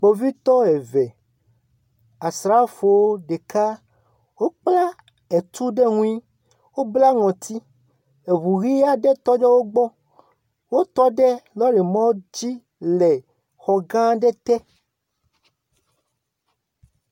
Kpovitɔ eve, asrafo ɖeka, wokpla etu ɖe ŋui, wobla ŋɔti, eŋu ʋe aɖe tɔ ɖe wo gbɔ. Wotɔ ɖe lɔ̃rimɔ dzi le exɔ gã aɖe te.